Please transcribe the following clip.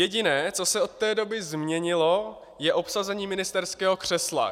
Jediné, co se od té doby změnilo, je obsazení ministerského křesla.